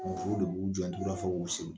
Musow de b'u jɔ fo k'u segin